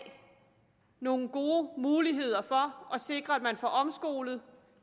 nogle gode muligheder for at sikre at man får omskolet